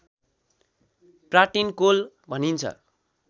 pratincole भनिन्छ